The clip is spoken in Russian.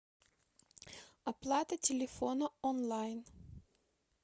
оплата телефона онлайн